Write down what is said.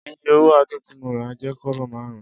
Iye owo Adun ti mo ra je kobo marun.